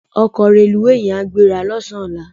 Òkò rélúwé yèn á gbérâ lòsán òlá